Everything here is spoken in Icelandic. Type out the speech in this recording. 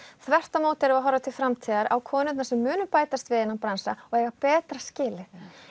þvert á móti erum við að horfa til framtíðar á konurnar sem munu bætast við í þennan bransa og eiga betra skilið